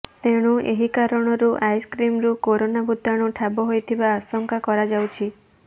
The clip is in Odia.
ତେଣୁ ଏହି କାରଣରୁ ଆଇସ୍କ୍ରିମରୁ କରୋନା ଭୂତାଣୁ ଠାବ ହୋଇଥିବା ଆଶଙ୍କା କରାଯାଉଛି